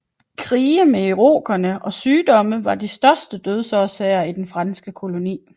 Krige med irokerne og sygdomme var de største dødsårsager i den franske koloni